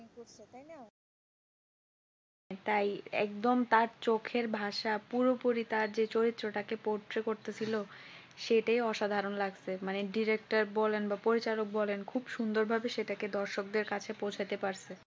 তাই একদম তার চোখে ভাষা বুঝতে পুরোপুরি তার চেয়ে চরিত্রটাকে বর্জ্য করতে ছিল। সেটাই অসাধারণ লাগছে মানে director বলেন বা পরিচাল ক বলেন খুব সুন্দর ভাবে সেটাকে দর্শকদের কাছে পৌঁছে দেবার